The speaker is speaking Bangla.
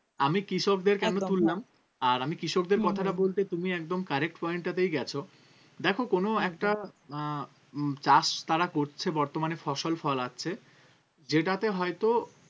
আমি কৃষকদের কেন তুললাম আর আমি কৃষকদের কথাটা বলতে তুমি একদম correct point টাতেই গেছো দেখো কোনো একটা আহ উম চাষ তারা করছে বর্তমানে ফসল ফলাচ্ছে যেটাতে হয়তো